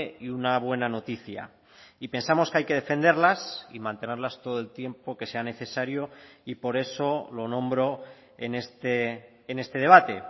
y una buena noticia y pensamos que hay que defenderlas y mantenerlas todo el tiempo que sea necesario y por eso lo nombro en este debate